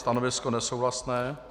Stanovisko nesouhlasné.